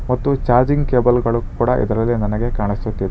ಮತ್ತು ಚಾರ್ಜಿಂಗ್ ಕೇಬಲ್ಗಳು ಕೂಡ ಇದರಲ್ಲಿ ನನಗೆ ಕಾಣಿಸುತ್ತಿದೆ.